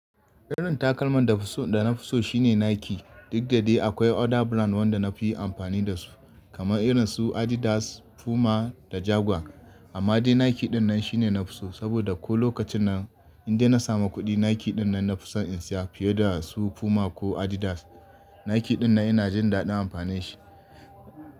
Irin takalman da na fi so shine Nike. Duk da dai akwai other brand wanda na fi amfani da su, kamar irin su Adidas, Puma da Jaguar. Amma dai Nike dinnan shine na fi so, saboda ko lokacin nan in dai na samu kuɗi, Nike dinnan na fi son in siya fiye da su Puma ko Adidas. Nike dinnan ina jin daɗin amfani da shi.